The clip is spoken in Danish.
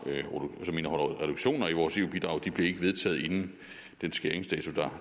reduktioner i vores eu bidrag ikke blev vedtaget inden den skæringsdato